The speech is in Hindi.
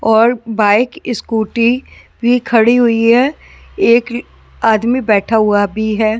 और बाइक स्कूटी भी खड़ी हुई है एक आदमी बैठा हुआ भी है।